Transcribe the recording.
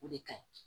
O de ka ɲi